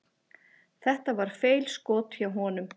Þetta var feilskot hjá honum.